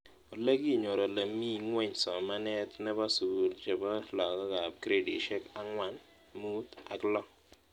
Ole kinyor ole mii ng'weny somanet nepo sukul chepo lakok ab gradishek ang'wan , mut, ak loo